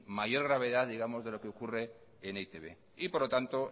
mayor gravedad digamos de lo que ocurre en e i te be y por lo tanto